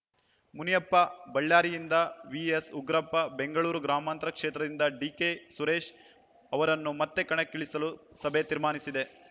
ಮುನಿಯಪ್ಪ ಬಳ್ಳಾರಿಯಿಂದ ವಿಎಸ್ ಉಗ್ರಪ್ಪ ಬೆಂಗಳೂರು ಗ್ರಾಮಾಂತರ ಕ್ಷೇತ್ರದಿಂದ ಡಿಕೆ ಸುರೇಶ್ ಅವರನ್ನು ಮತ್ತೆ ಕಣಕ್ಕಿಳಿಸಲು ಸಭೆ ತೀರ್ಮಾನಿಸಿದೆ